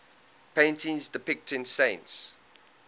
paintings depicting saints